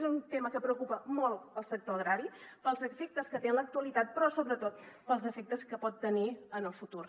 és un tema que preocupa molt el sector agrari pels efectes que té en l’actualitat però sobretot pels efectes que pot tenir en el futur